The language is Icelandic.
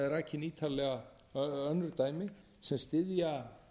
ítarlega önnur dæmi sem styðja